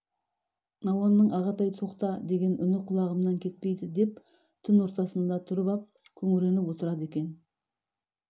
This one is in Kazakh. науанның ағатай тоқта деген үн құлағымнан кетпейді деп түн ортасында тұрып ап күңренп отырады екен